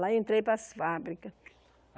Lá eu entrei para as fábricas.